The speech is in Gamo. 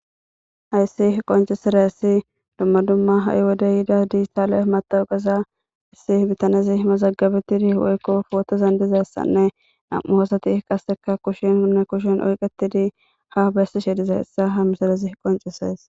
hayssi qoncesaressi dumma dumma ha7i wode yida diijitaale matawugaza issi bitanezi mazagabetidi woykko pootozan dizayssanne nam7u hoosati qasseka kushin unne kushen oyqetidi ha bessishe diza hessa ha misarezi qoncesees